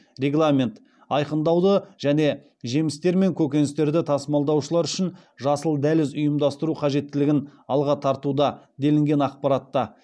айқындауды және жемістер мен көкөністерді тасымалдаушылар үшін жасыл дәліз ұйымдастыру қажеттілігін алға тартуда делінген ақпаратта